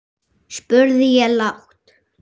spurði ég lágt.